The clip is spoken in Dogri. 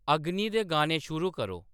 अग्नि दे गाने शुरू करो